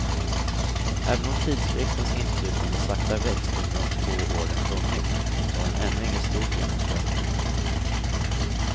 Även om tidskriftens inflytande sakta växt under de två år den funnits, så har den ännu inget stort genomslag.